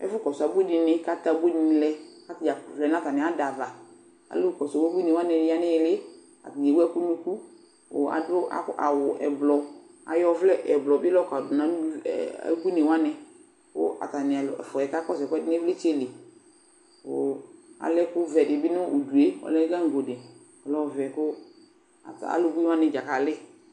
Ɛfʋkɔ abui dɩnɩ kʋ atɛ abui dɩnɩ lɛ kʋ ata dza vlɛ nʋ atamɩ ada ava Alʋ kɔsʋ ubuinɩ wanɩ ya nʋ ɩɩlɩ ɩɩlɩ, atanɩ ewu ɛkʋ nʋ unuku kʋ adʋ akʋ awʋ ɛblɔ Ayɔ ɔvlɛ ɛblɔ bɩ la yɔkɔdʋ nʋ ayu ɛ ɛ ebuinɩ wanɩ kʋ atanɩ al fʋa yɛ kakɔsʋ ɛkʋɛdɩ nʋ ɩvlɩtsɛ li kʋ alɛ ɛkʋvɛ dɩ bɩ nʋ udu yɛ Ɔlɛ gaŋgo dɩ Ɔlɛ ɔvɛ kʋ ata alʋ buinɩ wanɩ dza kalɩ